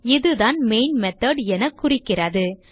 இதுதான் main method என குறிக்கிறது